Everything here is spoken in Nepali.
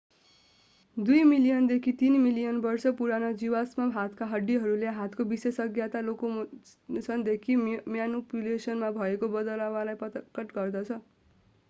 दुई मिलियन देखि तीन मिलियन वर्ष पुराना जीवाश्म हातका हड्डीहरूले हातको विशेषज्ञता लोकोमोशन देखि म्यानुपुलेशन मा भएको यो बदलावलाई प्रकट गर्दछ